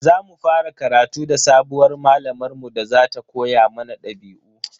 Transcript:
Za mu fara karatu da sabuwar malamar mu da za ta koya mana dabi'u.